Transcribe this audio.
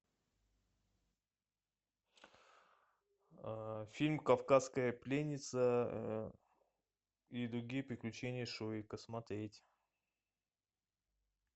фильм кавказская пленница и другие приключения шурика смотреть